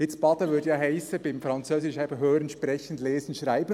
Nun, baden würde ja beim Französisch heissen: hören, sprechen, lesen, schreiben.